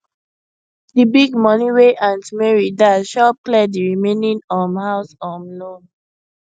the big money wey aunt mary dash help clear the remaining um house um loan